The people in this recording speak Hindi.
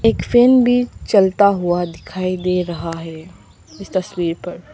फैन भी चलता हुआ दिखाई दे रहा है इस तस्वीर।